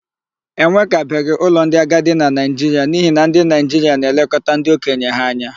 E nwekabeghị ụlọ ndị agadi na Naịjiria n'ihi na ndị Naịjiria na-elekọta ndị okenye ha anya.